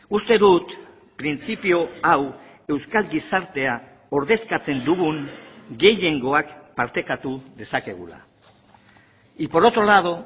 uste dut printzipio hau euskal gizartea ordezkatzen dugun gehiengoak partekatu dezakegula y por otro lado